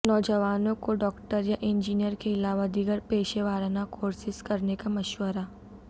نوجوانوں کو ڈاکٹر یا انجینئر کے علاوہ دیگر پیشہ وارانہ کورسیس کرنے کا مشورہ